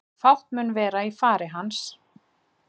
Fátt mun vera í fari hans